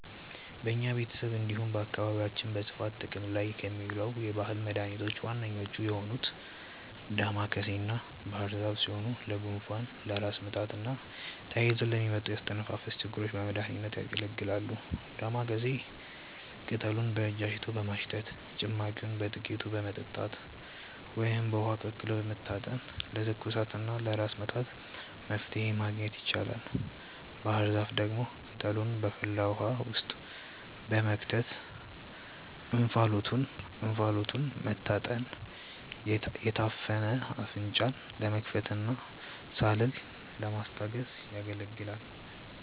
በኛ ቤተሰብ እንዲሁም በአካባቢያችን በስፋት ጥቅም ላይ ከሚውሉ የባህል መድኃኒቶች ዋነኞቹ የሆኑት ዳማከሴና ባህርዛፍ ሲሆኑ ለጉንፋን፣ ለራስ ምታትና ተያይዘው ለሚመጡ የአተነፋፈስ ችግሮች በመድሀኒትነት ያገለግላሉ። ዳማከሴን ቅጠሉን በእጅ አሽቶ በማሽተት፣ ጭማቂውን በጥቂቱ በመጠጣት ወይም በውሃ ቀቅሎ በመታጠን ለትኩሳትና ለራስ ምታት መፍትሔ ማግኘት ይቻላል። ባህርዛፍ ደግሞ ቅጠሉን በፈላ ውሃ ውስጥ በመክተት እንፋሎቱን መታጠን የታፈነ አፍንጫን ለመክፈትና ሳልን ለማስታገስ ያገለግላል።